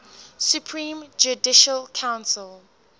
supreme judicial council